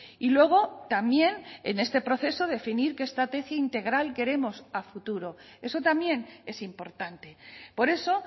y luego también en este proceso definir qué estrategia integral queremos a futuro eso también es importante por eso